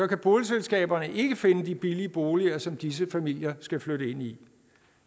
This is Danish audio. kan boligselskaberne ikke finde de billige boliger som disse familier skal flytte ind i